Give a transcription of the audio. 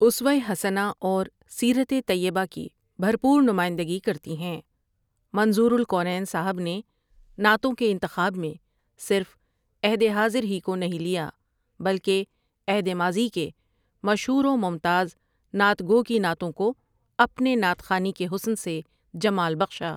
اسوۂ حسنہ اور سیرت طیبہ کی بھرپور نمائندگی کرتی ہیں منظور الکونین صاحب نے نعتوں کے انتخاب میں صرف عہد حاضر ہی کو نہیں لیا بلکہ عہد ماضی کے مشہور و ممتاز نعت گو کی نعتوں کو اپنے نعت خوانی کے حسن سے جمال بخشا۔